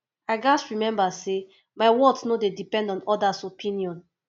i gats remember say my worth no dey depend on others opinions